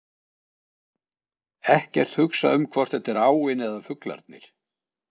Ekkert hugsa um hvort þetta er áin eða fuglarnir.